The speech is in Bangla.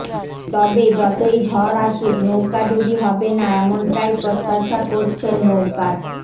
তবে যতই ঝড় আসুক নৌকাডুবি হবে না এমনটাই প্রত্যাশা করছেন নৌকার